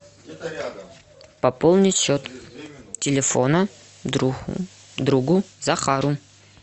пополнить счет телефона другу захару